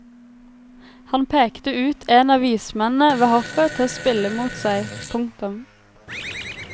Han pekte ut en av vismennene ved hoffet til å spille mot seg. punktum